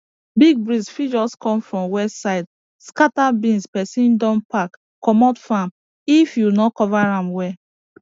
big breeze fit just come from west side scatter beans person don pack comot farm if you no cover am well